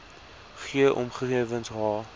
g omgewings h